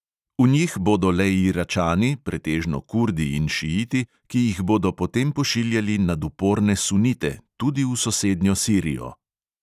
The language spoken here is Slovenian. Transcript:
V njih bodo le iračani, pretežno kurdi in šiiti, ki jih bodo potem pošiljali nad uporne sunite, tudi v sosednjo sirijo.